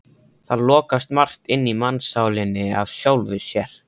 Það lokast margt inni í mannssálinni af sjálfu sér.